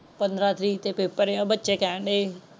ਪੰਦਰਾਂ ਤਾਰੀਕ ਤੋਂ ਪੇਪਰ ਹੈ ਬੱਚੇ ਕਹਿਣ ਡਏ।